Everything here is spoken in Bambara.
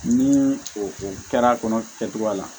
Ni o kɛra kɔnɔ kɛcogoya la